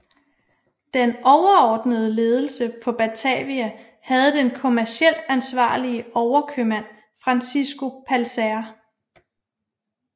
Den overordnede ledelse på Batavia havde den kommercielt ansvarlige overkøbmand Francisco Pelsaert